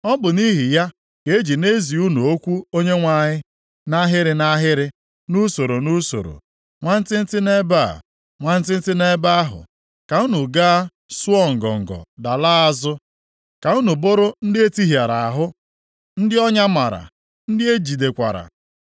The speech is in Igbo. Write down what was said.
Ọ bụ nʼihi ya ka e ji na-ezi unu okwu Onyenwe anyị nʼahịrị nʼahịrị, nʼusoro nʼusoro; nwantịntị nʼebe a, nwantịntị nʼebe ahụ, ka unu gaa sụọ ngọngọ dalaa azụ, ka unu bụrụ ndị e tihịara ahụ, ndị ọnya mara, ndị e jidekwara.